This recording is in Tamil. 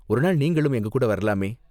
ஒருநாள் நீங்களும் எங்ககூட வரலாமே?